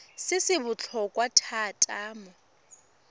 se se botlhokwa thata mo